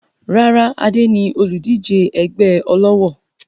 Rárá, Adé ni olùdíje ẹgbẹ́ ọlọ́wọ̀